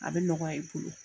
A bɛ nɔgɔya i bolo.